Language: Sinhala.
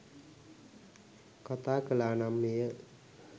කතා කළා නම් එය